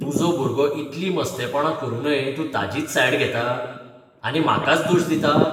तुजो भुरगो इतली मस्तेपणां करुनूय तूं ताजीच सायड घेता, आनी म्हाकाच दोश दिता.